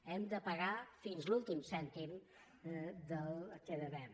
hem de pagar fins l’últim cèntim del que devem